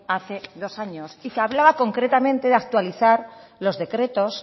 hace dos años y que hablaba concretamente de actualizar los decretos